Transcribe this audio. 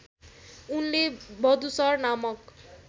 उनले वधूसर नामक